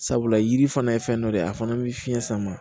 Sabula yiri fana ye fɛn dɔ de a fana bɛ fiɲɛ sama